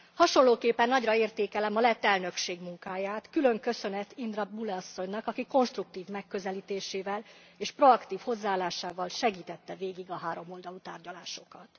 Hasonlóképpen nagyra értékelem a lett elnökség munkáját, külön köszönet Indra Bule asszonynak, aki konstruktív megközelítésével és proaktív hozzáállásával segítette végig a háromoldalú tárgyalásokat.